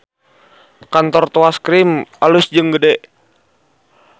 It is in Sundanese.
Kantor Toast Cream alus jeung gede